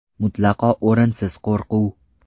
Mutlaqo o‘rinsiz qo‘rquv!